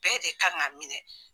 Bɛɛ de kan g'a minɛ